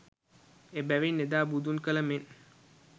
එබැවින් එදා බුදුන් කල මෙන්